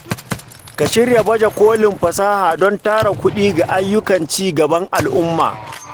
Ka shirya baje kolin fasaha don tara kuɗi ga ayyukan ci gaban al’umma.